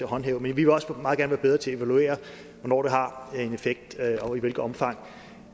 håndhæve men vi vil også meget gerne være bedre til at evaluere hvornår det har en effekt og i hvilket omfang